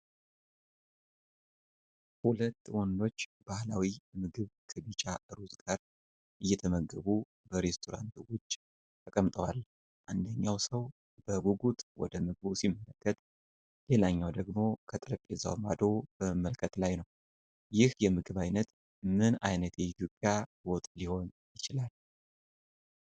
ሁለት ወንዶች ባህላዊ ምግብ ከቢጫ ሩዝ ጋር እየተመገቡ በሬስቶራንት ውጪ ተቀምጠዋል። አንደኛው ሰው በጉጉት ወደ ምግቡ ሲመለከት፣ ሌላኛው ደግሞ ከጠረጴዛው ማዶ በመመልከት ላይ ነው። ይህ የምግብ አይነት ምን አይነት የኢትዮጵያ ወጥ ሊሆን ይችላል?